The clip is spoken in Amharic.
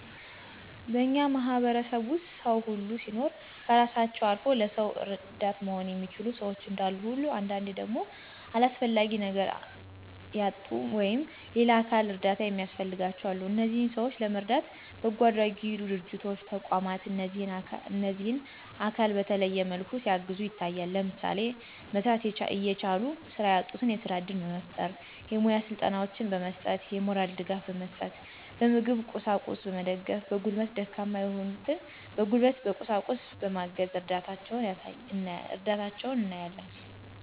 በእኛ ማህበረሰብ ዉስጥ ሰዉ ሁሉ ሲኖር ከእራሳቸዉ አልዉ ለሰዉ እረዳት መሆን የሚችሉ ሸዎች እንዳሉ ሁሉ አንዳንዴ ደግሞ ለአስፈላጊ ነገር ያጡ ወይም <የሌላ አካል እርዳታ የሚያስፈልጋቸዉ>አሉ። እነዚህንም ሰዎች ለመርዳት በጎአድራጊ ድርጅቶች ተቋማት እነዚህን አካል በተለያየ መልኩ ሲያግዙ ይታያሉ። ለምሳሌ፦ መስራት እየቻሉ ስራ ያጡትን የስራ እድል በመፍጠር፣ የሙያ ስልጠናወችን በመስጠት፣ የሞራል ድጋፍ በመስጠት፣ በምግብ ቁሳቁስ በመገደፍ፣ በጉልበት ደካማ የሆኑትን በጉልበት በቁሳቁስ በማገዝ እርዳታቸዉን እናያለን።